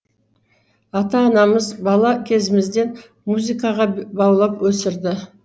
ата анамыз бала кезімізден музыкаға баулып өсірді